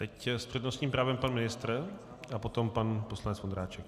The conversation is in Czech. Teď s přednostním právem pan ministr a potom pan poslanec Vondráček.